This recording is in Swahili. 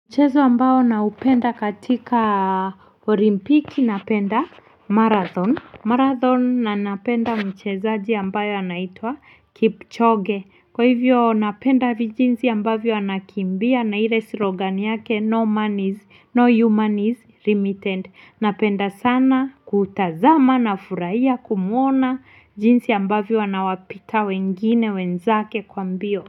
Mchezo ambao naupenda katika olimpiki, napenda marathon. Marathon na napenda mchezaji ambayo anaitwa Kipchoge, kwa hivyo napenda jinsi ambavyo anakimbia na ile slogan yake no man is no human is limited, napenda sana kutazama na kufurahia kumuona. Jinsi ambavyo anawapita wengine wenzake kwa mbio.